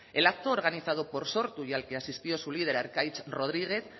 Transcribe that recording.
el acto organizado por sortu y al que asistió su líder arkaitz rodriguez